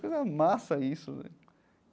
Que coisa massa isso, né?